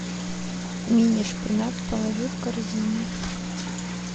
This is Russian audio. мини шпинат положи в корзину